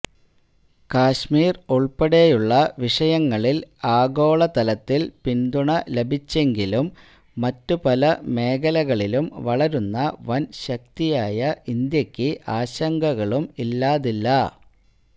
കാശ്മീർ ഉൾപ്പെടെയുള്ള വിഷയങ്ങളിൽ ആഗോളതലത്തിൽ പിന്തുണ ലഭിച്ചെങ്കിലും മറ്റുപല മേഖലകളിലും വളരുന്ന വൻശക്തിയായ ഇന്ത്യയ്ക്ക് ആശങ്കകളും ഇല്ലാതില്ല